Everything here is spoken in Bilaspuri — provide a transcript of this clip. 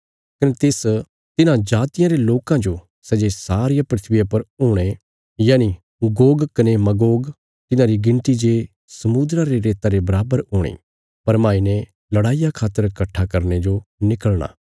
कने तिस तिन्हां जातियां रे लोकां जो सै जे सारिया धरतिया पर हुणे यनि गोग कने मगोग तिन्हांरी गिणती जे समुद्रा रे रेता रे बराबर हूणी भरमाई ने लड़ाईया खातर कट्ठा करने जो निकलणा